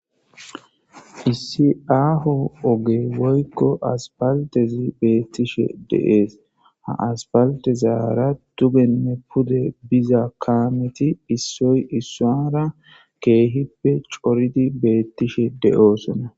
Issi akko ogge(asipaltte) betishin dess ha ogezara cora kameti dugenne pude issoy issuwara coridi bi bettetes .